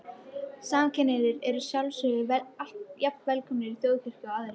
Samkynhneigðir eru að sjálfsögðu jafn velkomnir í Þjóðkirkjuna og aðrir.